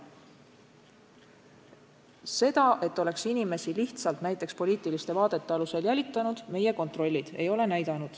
Seda, et oleks inimesi lihtsalt näiteks poliitiliste vaadete tõttu jälitatud, meie kontrollid ei ole näidanud.